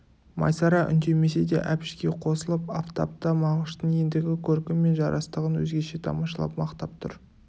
майсара үндемесе де әбішке қосылып афтап та мағыштың ендігі көркі мен жарастығын өзгеше тамашалап мақтап тұр